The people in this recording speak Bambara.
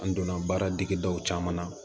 An donna baara dege daw caman na